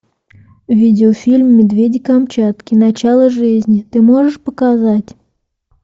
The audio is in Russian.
видеофильм медведи камчатки начало жизни ты можешь показать